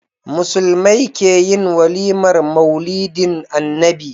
Musulmai keyin walimar maulidin annabi